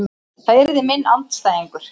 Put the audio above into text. Það yrði minn andstæðingur.